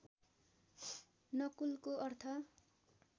नकुलको अर्थ